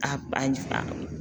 A ba ɲi fa